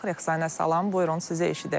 Rəqsanə, salam, buyurun, sizə eşidək.